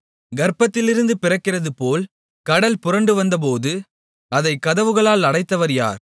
கர்ப்பத்திலிருந்து பிறக்கிறதுபோல் கடல் புரண்டுவந்தபோது அதைக் கதவுகளால் அடைத்தவர் யார்